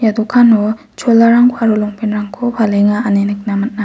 ia dokano cholarangko aro longpant -rangko aro palenga ine nikna man·a.